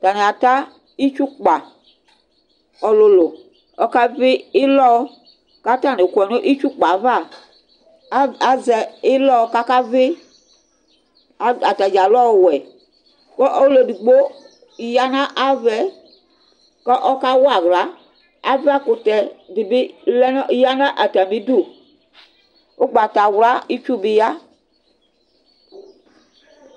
atani ata itsukpa ɔlòlò ɔka vi ilɔ ko atani kɔ n'itsu kpa ava azɛ ilɔ k'aka vi atadza lɛ ɔwɛ ko ɔló edigbo ya n'avaɛ ko ɔka wa ala ava kutɛ di bi lɛ no ya n'atami du ugbatawla itsu bi ya